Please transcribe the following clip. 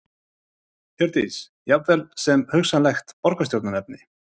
Hjördís: Jafnvel sem hugsanlegt borgarstjóraefni?